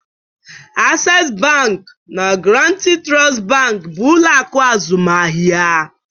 Access Bank na Guaranty Trust Bank bụ ụlọ akụ azụmaahịa